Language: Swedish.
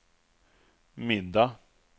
middag